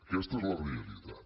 aquesta és la realitat